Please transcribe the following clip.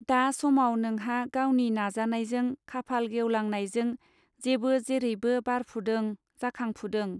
दा समाव नोंहा गावनि नाजानायजों खाफाल गेवलां नायजों जेबो जेरैबो बारफुदों जाखांफुदों.